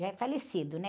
Já é falecido, né?